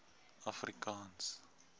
afrikaans